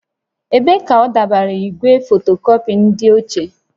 Ebee ka adọbara igwe fotokọpị nke ochie?